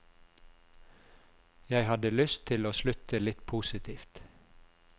Jeg hadde lyst til å slutte litt positivt.